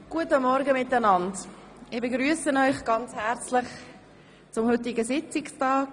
Guten Morgen, ich begrüsse Sie zum heutigen Sitzungstag.